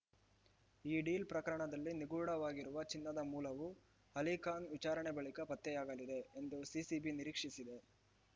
ಈ ಡೀಲ್‌ ಪ್ರಕರಣದಲ್ಲಿ ನಿಗೂಢವಾಗಿರುವ ಚಿನ್ನದ ಮೂಲವು ಅಲಿಖಾನ್‌ ವಿಚಾರಣೆ ಬಳಿಕ ಪತ್ತೆಯಾಗಲಿದೆ ಎಂದು ಸಿಸಿಬಿ ನಿರೀಕ್ಷಿಸಿದೆ